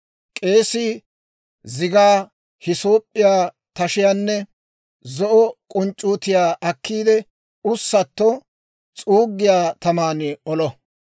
K'eesii zigaa, hiisoop'p'iyaa tashiyaanne zo'o k'unc'c'uutiyaa akkiide, ussatto s'uuggiyaa taman olo.